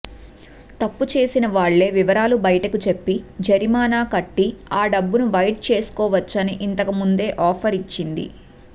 తప్పు చేసిన వాళ్లే వివరాలు బయటకు చెప్పి జరిమానా కట్టి ఆ డబ్బును వైట్ చేసుకోవచ్చని ఇంతకముందే ఆఫర్ ఇచ్చింది